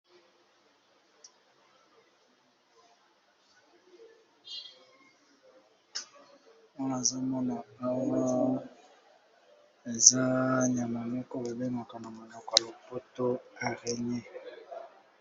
Awa nazo mona awa eza nyama moko babengaka na monoko ya lopoto Araigné.